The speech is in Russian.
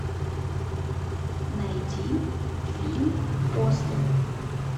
найди фильм после